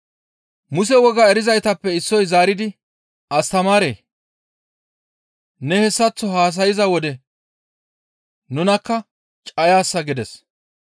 Muse wogaa erizaytappe issoy zaaridi, «Astamaaree! Ne hessaththo haasayza wode nunakka cayaasa» gides.